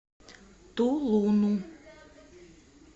тулуну